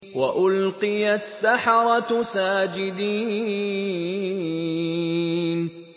وَأُلْقِيَ السَّحَرَةُ سَاجِدِينَ